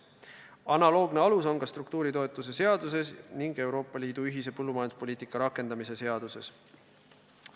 Analoogne alus on ka struktuuritoetuse seaduses ning Euroopa Liidu ühise põllumajanduspoliitika rakendamise seaduses.